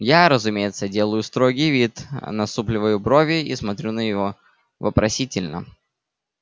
я разумеется делаю строгий вид насупливаю брови и смотрю на него вопросительно